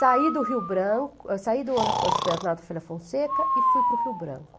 Saí do Rio Branco, eu saí do Externato Folha Fonseca e fui para o Rio Branco.